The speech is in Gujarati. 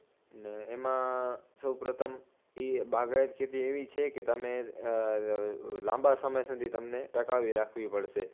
ને એમાં સૌપ્રથમ ઇ બાગાયત ખેતી એવી છે કે તમે લાંબા સમય સુધી તમને ટકાવી રાખવી પડશે